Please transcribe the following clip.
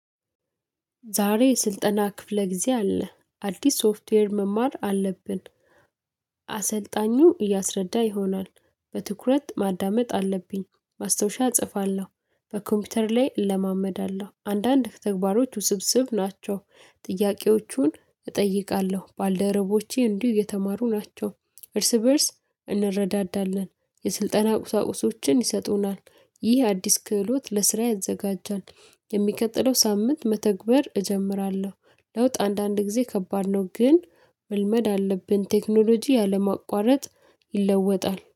ዛሬ የስልጠና ክፍለ ጊዜ አለ አዲስ ሶፍትዌር መማር አለብን። አሰልጣኙ እያስረዳ ይሆናል በትኩረት ማዳመጥ አለብኝ ማስታወሻ እጽፋለሁ። በኮምፒውተር ላይ እለማመዳለሁ አንዳንድ ተግባሮች ውስብስብ ናቸው። ጥያቄዎቹን እጠይቃለሁ ባልደረቦቼ እንዲሁ የተማሩ ናቸው። እርስ በእርስ እንረዳዳለን። የስልጠና ቁሳቁሶችን ይሰጡናል። ይህ አዲስ ክህሎት ለስራ ያዘጋጃል። የሚቀጥለው ሳምንት መተግበር እጀምራለሁ። ለውጥ አንዳንድ ጊዜ ከባድ ነው። ግን መልመድ አለብን ቴክኖሎጂ ያለማቋረጥ ይለወጣል